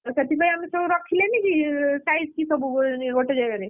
ସେଥିପାଇଁ ଆମେ ସବୁ ରଖିଲେନି କି size କି ସବୁ ଗୋଟେ ଜାଗାରେ,